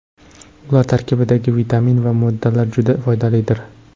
Ular tarkibidagi vitamin va moddalar juda foydalidir.